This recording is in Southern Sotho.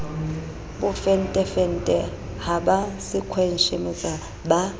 bofentefente ha ba sekhweshemetsa ba